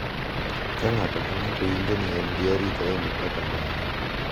Ka ng’ato ka ng’ato winjo ni en gi arita e mipaka mare,